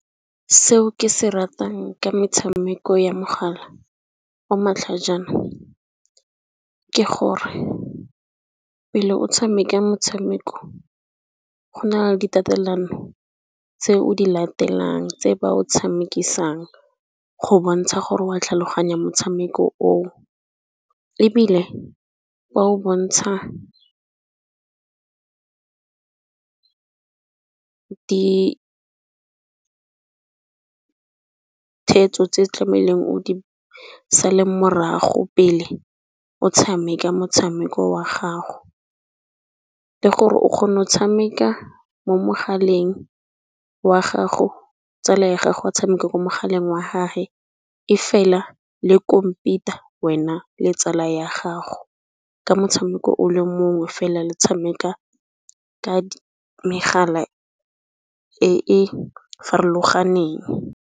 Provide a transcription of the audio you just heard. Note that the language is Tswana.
Seo ke se ratang ka metshameko ya mogala o matlhajana, ke gore pele o tshameka motshameko go na le di tatelano tse o di latelang tse ba o tshamekisang go bontsha gore wa tlhaloganya motshameko o. Ebile ba o bontsha di theetso tse tlameileng o Di sale morago pele o tshameka motshameko wa gago. Le gore o kgono tshameka mo mogaleng wa gago, tsala ya gago a tshameko mo mogaleng wa gage e fela le compete-a wena le tsala ya gago. Ka motshameko o le mongwe fela le tshameka ka megala e e farologaneng.